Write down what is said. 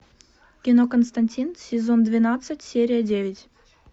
кино константин сезон двенадцать серия девять